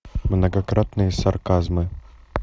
многократные сарказмы